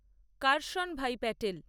Karshan bhai Patel